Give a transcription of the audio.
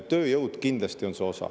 Tööjõud kindlasti on see osa.